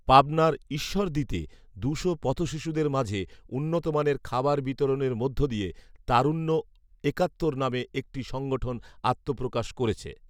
পাবনার ঈশ্বরদীতে দুশো পথশিশুদের মাঝে উন্নতমানের খাবার বিতরণের মধ্য দিয়ে ‘তারুণ্য একাত্তর’ নামে একটি সংগঠন আত্মপ্রকাশ করেছে